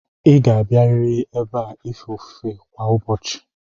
Ịga abịarịrị ebe a ife ofufe kwa ụbọchị!